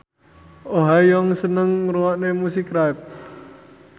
Oh Ha Young seneng ngrungokne musik rap